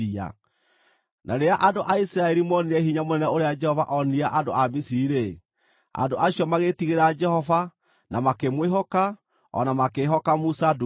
Na rĩrĩa andũ a Isiraeli moonire hinya mũnene ũrĩa Jehova onirie andũ a Misiri-rĩ, andũ acio magĩĩtigĩra Jehova na makĩmwĩhoka o na makĩĩhoka Musa ndungata yake.